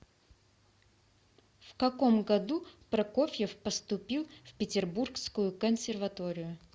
в каком году прокофьев поступил в петербургскую консерваторию